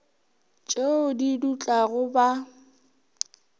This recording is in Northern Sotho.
t eo di dutlago ba